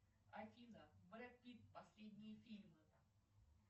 афина брэд питт последние фильмы